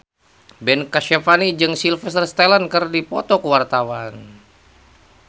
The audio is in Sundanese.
Ben Kasyafani jeung Sylvester Stallone keur dipoto ku wartawan